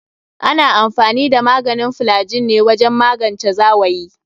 Ana amfani da maganin flygin ne wajen magance zawayi.